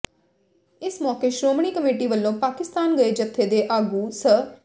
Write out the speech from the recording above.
ਇਸ ਮੌਕੇ ਸ਼੍ਰੋਮਣੀ ਕਮੇਟੀ ਵੱਲੋਂ ਪਾਕਿਸਤਾਨ ਗਏ ਜਥੇ ਦੇ ਆਗੂ ਸ